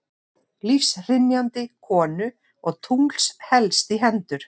Lífshrynjandi konu og tungls helst í hendur.